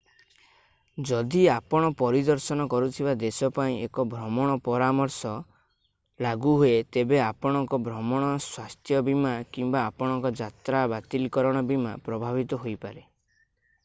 ଯଦି ଆପଣ ପରିଦର୍ଶନ କରୁଥିବା ଦେଶ ପାଇଁ ଏକ ଭ୍ରମଣ ପରାମର୍ଶ ଟ୍ରାଭେଲ୍ ଆଡଭାଇଜରି ଲାଗୁ ହୁଏ ତେବେ ଆପଣଙ୍କ ଭ୍ରମଣ ସ୍ୱାସ୍ଥ୍ୟ ବୀମା କିମ୍ବା ଆପଣଙ୍କର ଯାତ୍ରା ବାତିଲକରଣ ବୀମା ପ୍ରଭାବିତ ହୋଇପାରେ।